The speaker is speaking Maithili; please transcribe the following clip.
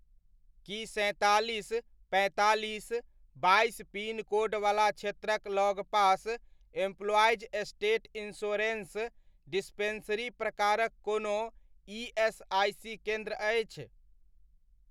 की सैंतालीस, पैंतालीस, बाइस पिनकोडवला क्षेत्रक लगपास एम्पलॉईज स्टेट इंश्योरन्स डिस्पेन्सरी प्रकारक कोनो ईएसआइसी केन्द्र अछि?